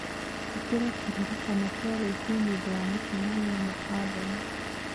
ĩkira kĩririkano kĩa rũciũ nĩ ũndũ wa mũcemanio na Allen